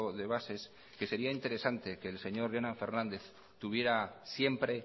de bases que sería interesante que el señor jonan fernández tuviera siempre